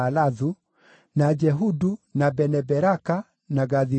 na Jehudu, na Bene-Beraka, na Gathi-Rimoni,